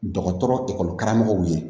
Dɔgɔtɔrɔ karamɔgɔw ye